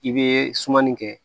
I bɛ sumani kɛ